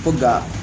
Ko ga